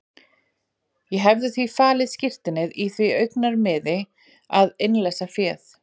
Ég hefði því falið skírteinið í því augnamiði að innleysa féð.